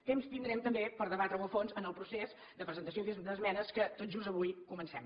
temps tindrem també per debatre ho a fons en el procés de presentació d’esmenes que tot just avui comencem